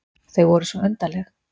Þau voru svo undarleg.